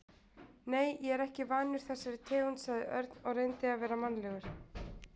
Nei, ég er ekki vanur þessari tegund sagði Örn og reyndi að vera mannalegur.